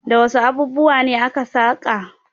Da wasu abubuwa ne aka saƙa?